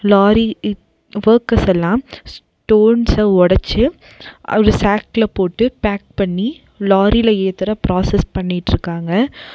Lorry ப் வக்கர்ஸ் எல்லா ஸ்டோன்ஸ்ஸ ஒடச்சி அவ்வளோ சேக்ல போட்டு பேக் பண்ணி லாரில ஏத்துற ப்ராசஸ் பண்ணிட்ருக்காங்க.